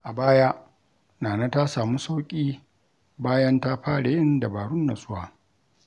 A baya, Nana ta samu sauƙi bayan ta fara yin dabarun natsuwa.